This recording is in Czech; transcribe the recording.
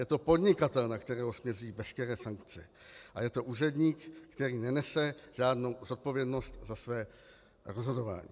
Je to podnikatel, na kterého směřují veškeré sankce, a je to úředník, který nenese žádnou zodpovědnost za své rozhodování.